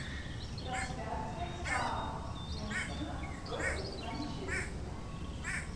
трансляция саутгемптона против манчестера